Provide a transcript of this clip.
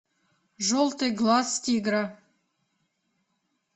желтый глаз тигра